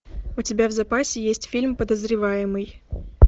у тебя в запасе есть фильм подозреваемый